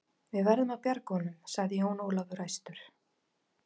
Við verðum að bjarga honum, sagði Jón Ólafur æstur.